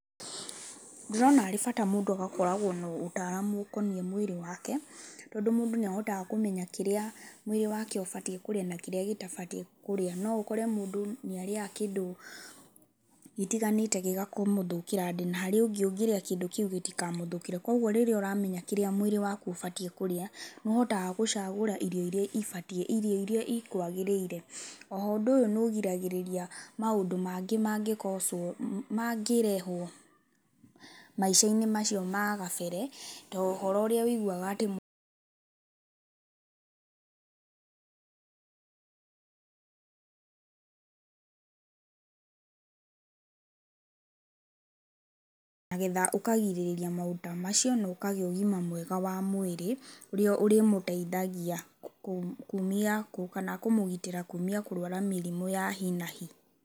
Ndĩrona arĩ bata mũndũ agakoragwa na ũtaramu ũkonie mwĩrĩ wake, tondũ mũndũ nĩahotaga kũmenya kĩrĩa mwĩrĩ wake ũatie kũrĩa na kĩrĩa gĩtabatie kũrĩa, noũkore mũndũ nĩarĩaga kĩndũ itiganĩte gĩkamũthũkĩra nda, na harĩ ũngĩrĩa kĩndũ kĩu gĩtĩkamũthũkĩre kwoguo rĩrĩa ũramenya kĩrĩa mũĩrĩ waku ũbatie kũrĩa, nĩũhotaga gũcagũra irio iria ibatie irio irĩa ikwagĩrĩire, oho ũndũ ũyũ nĩũgiragĩrĩria maũndũ mangĩ mangĩrehwo maishanĩ macio ma kabere na ũhoro ũrĩa ũigagua nĩgetha ũkagirĩrĩria maũndũ ta macio na ũkagĩa ũgima mwega wa mwĩrĩ ũrĩa ũrĩmũteithagia kũmũgitĩra kũgĩa mĩrimũ ya nahi nahi.